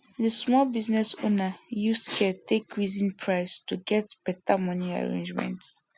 di small business owner use care take reason price to get beta money arrangement